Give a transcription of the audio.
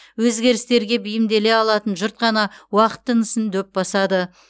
өзгерістерге бейімделе алатын жұрт қана уақыт тынысын дөп басады